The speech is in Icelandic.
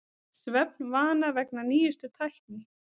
Svefnvana vegna nýjustu tækni